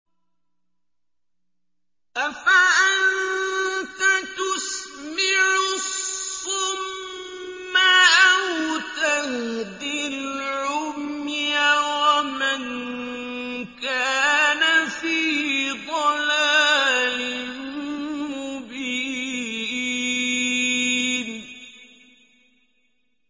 أَفَأَنتَ تُسْمِعُ الصُّمَّ أَوْ تَهْدِي الْعُمْيَ وَمَن كَانَ فِي ضَلَالٍ مُّبِينٍ